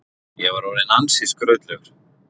Ég var orðinn ansi skrautlegur.